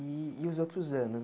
E e os outros anos?